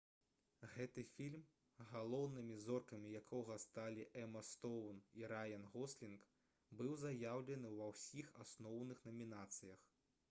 гэты фільм галоўнымі зоркамі якога сталі эма стоўн і раян гослінг быў заяўлены ва ўсіх асноўных намінацыях